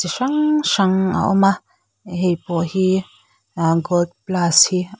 hrang hrang a awm a heipawh hi ahh gold plus hi--